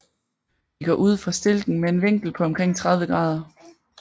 De går ud fra stilken med en vinkel på omkring 30 grader